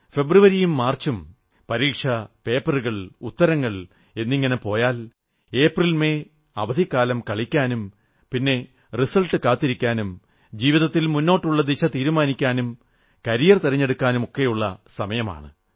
ഫെബ്രുവരിയും മാർച്ചും പരീക്ഷാപേപ്പറുകൾ ഉത്തരങ്ങൾ എന്നിങ്ങനെ പോയാൽ ഏപ്രിൽ മെയ് അവധിക്കാലം കളിക്കാനും പിന്നെ റിസൽട്ട് കാത്തിരിക്കാനും ജീവിതത്തിൽ മുന്നോട്ടുള്ള ദിശ തീരുമാനിക്കാനും കരിയർ തിരഞ്ഞെടുക്കാനും ഒക്കെയുള്ള സമയമാണ്